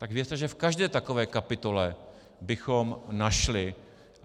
Tak věřte, že v každé takové kapitole bychom našli...